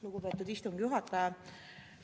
Lugupeetud istungi juhataja!